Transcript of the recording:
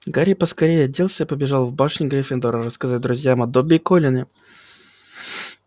гарри поскорее оделся и побежал в башню гриффиндора рассказать друзьям о добби и колине